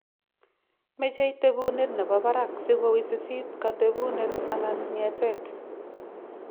Meche tebunet nebo barak siko wisisit katebunet and ng�eteet.